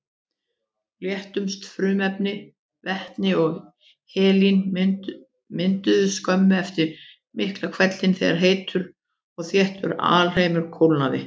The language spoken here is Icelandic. Léttustu frumefnin, vetni og helín, mynduðust skömmu eftir Miklahvell þegar heitur og þéttur alheimur kólnaði.